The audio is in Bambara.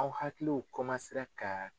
Aw hakiliw kan